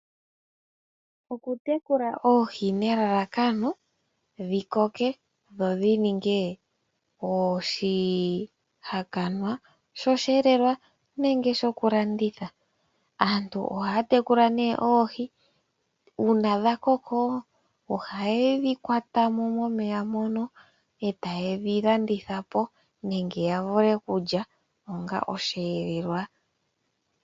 Okutekula oohi nelalakano dhi koke dho dhi ninge osheelelwa nenge oshihakanwa shokulanditha. Aantu ohaya tekula oohi, uuna dha koko ohaye dhi kwata mo momeya mono e taye dhi landitha po nenge ya vule okulya onga osheelelwa.